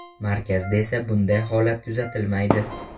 Markazda esa bunday holat kuzatilmaydi.